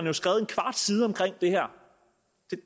har skrevet en kvart side om det her